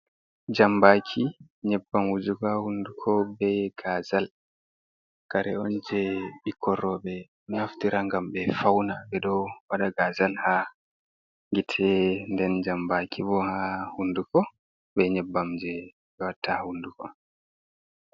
Jambaki, nyebbam wujuga haa hunduko, be gazal, kare on je ɓikkon rowɓe naftira ngam ɓe fauna. Ɓe ɗo waɗa gazal haa gite, nden jambaki bo haa hunduko, be nyebbam je ɓe watta haa hunduko.